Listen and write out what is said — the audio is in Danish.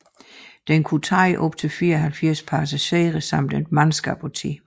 Den kunne tage op til 74 passagerer samt et mandskab på 10